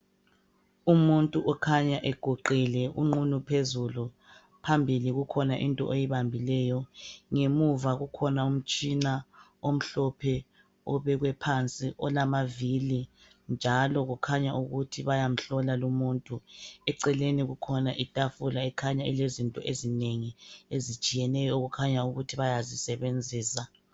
Umuntu okhanya eguqile unqunu phezulu. Phambili kukhona into oyibambileyo, ngemuva kukhona umtshina omhlophe obekwe phansi olamavili. Njalo kukhanya ukuthi bayamhlola lumuntu. Eceleni kukhona itafula okukhanya ilezinto ezinengi ezitshiyeneyo okukhanya ukuthi bayazisebenzisa.